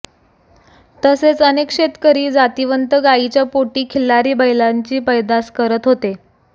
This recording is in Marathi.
तसेच अनेक शेतकरी जातीवंत गायीच्या पोटी खिल्लारी बैलांची पैदास करत होते